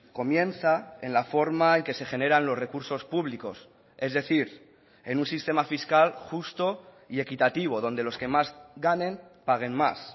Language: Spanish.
comienza en la forma en que se generan los recursos públicos es decir en un sistema fiscal justo y equitativo donde los que más ganen paguen más